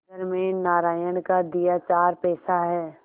घर में नारायण का दिया चार पैसा है